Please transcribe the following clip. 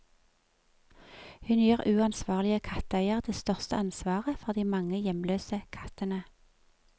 Hun gir uansvarlige katteeiere det største ansvaret for de mange hjemløse kattene.